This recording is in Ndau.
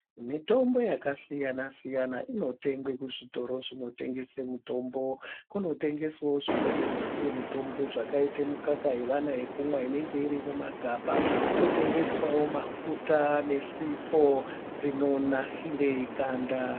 Mitombo yakasiyana siyana inotengwe juzvitoro zvinotengese mutombo. Kunotengeswa zvimweni zvisiri mutombo zvakaita mukaka yevana yekumwa inenge iri mumagaba. Kotengeswawo mafuta nesupo dzinonasire ganda.